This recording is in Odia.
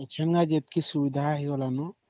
ଏ ବେଳେ ଯେତିକି ସୁବିଧା ହେଇ ଗଲା ନ